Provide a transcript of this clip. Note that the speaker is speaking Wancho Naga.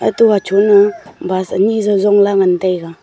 e to hacho ne bus ani jau jongla ngan taiga.